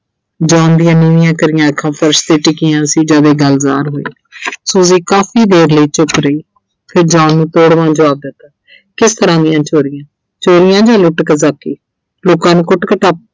John ਦੀਆਂ ਨੀਵੀਆਂ ਕਰੀਆਂ ਅੱਖਾਂ ਫਰਸ਼ 'ਤੇ ਟਿਕੀਆਂ ਸੀ ਜਦ ਇਹ ਗੱਲ ਜਾਹਿਰ ਹੋਈ Suji ਕਾਫੀ ਦੇਰ ਲਈ ਚੁੱਪ ਰਹੀ, ਫਿਰ John ਨੂੰ ਤੋੜਵਾਂ ਜਵਾਬ ਦਿੱਤਾ ਕਿਸ ਤਰ੍ਹਾਂ ਦੀਆਂ ਚੋਰੀਆਂ, ਚੋਰੀਆਂ ਜਾਂ ਲੁੱਟ ਲੋਕਾਂ ਨੂੰ ਕੁੱਟ-ਕੁਟਾਪਾ।